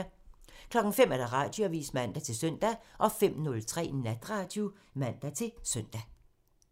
05:00: Radioavisen (man-søn) 05:03: Natradio (man-søn)